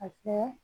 A kɛ